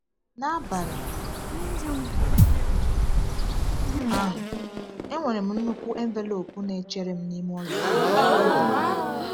N’abalị ahụ, e nwere nnukwu envelopu na-echere m n’ime ụlọ m.